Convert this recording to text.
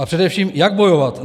A především jak bojovat?